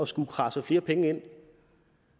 skulle kradse flere penge ind